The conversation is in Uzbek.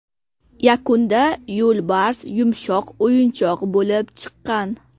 Yakunda yo‘lbars yumshoq o‘yinchoq bo‘lib chiqqan.